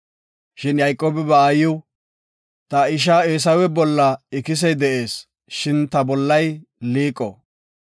Shin Yayqoobi ba aayiw, “Ta isha Eesawe bolla ikisey de7ees shin ta bollay liiqo.